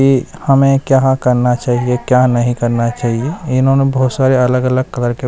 की हमें क्या करना चाहिए क्या नहीं करना चाहिए इन्होंने बहोत सारे अलग अलग कलर के--